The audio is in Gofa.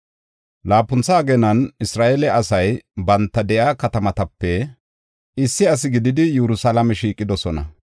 Laapuntha ageenan Isra7eele asay banta de7iya katamatape issi asi gididi Yerusalaame shiiqidosona.